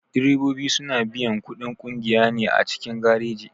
Direbobi suna biyan kuɗin ƙungiya ne a cikin gareji.